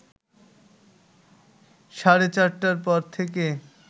সাড়ে চারটার পর থেকে